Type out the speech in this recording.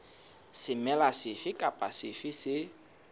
semela sefe kapa sefe se